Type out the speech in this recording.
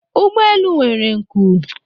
ụgbọ elu nwere nku